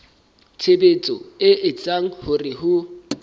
tshebetso e etsang hore ho